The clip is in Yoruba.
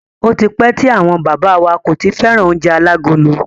Ó ti pẹ́ tí àwọn bàbá wa kò ti fẹ́ràn oúnjẹ alágolo.